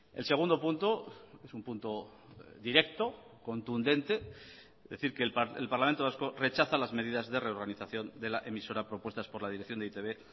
el segundo punto es un punto directo contundente es decir que el parlamento vasco rechaza las medidas de reorganización de la emisora propuestas por la dirección de e i te be